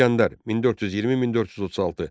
İsgəndər, 1420-1436.